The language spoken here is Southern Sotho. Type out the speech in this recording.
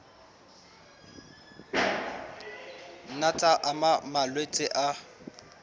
nna tsa ama malwetse a